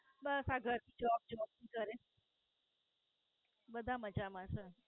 બસ આ ઘર થી Job job થી ઘરે બધા મજા માં છે.